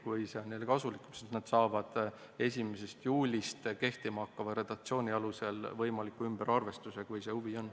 Kui see on neile kasulik, siis nad saavad 1. juulist kehtima hakkava redaktsiooni alusel võimaliku ümberarvestuse, kui selleks huvi on.